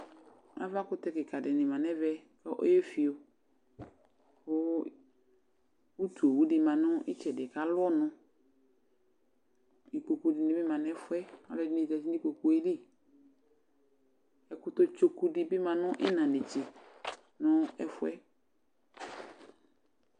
aɣakʋtɛkikaa di manʋ ɛvɛ kʋ ɔyɛ ƒiɔ kʋ ʋtʋ ɔwʋ di manʋ itsɛdi kʋ alʋ ɔnʋ, ikpɔkʋ dini bi manʋ ɛƒʋɛ kʋ ɛdini zati nʋ ikpɔkʋɛ li ɛkʋtɛ tsɔkʋ dibi manʋ ɛna nɛtsɛ nʋ ɛƒʋɛ